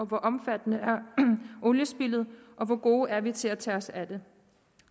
hvor omfattende er oliespildet og hvor gode er vi til at tage os af det